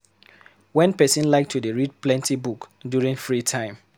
Wen person like to dey read plenty book during free time